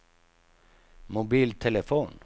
mobiltelefon